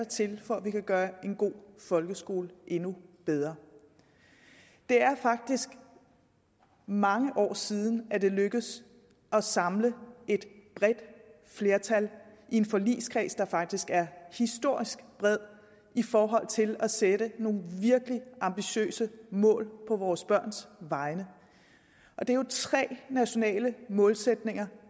til for at vi kan gøre en god folkeskole endnu bedre det er faktisk mange år siden at det er lykkedes at samle et bredt flertal i en forligskreds der faktisk er historisk bred i forhold til at sætte nogle virkelig ambitiøse mål på vores børns vegne det er jo tre nationale mål